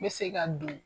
N bɛ se ka don